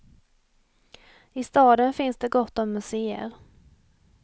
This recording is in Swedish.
I staden finns det gott om museer.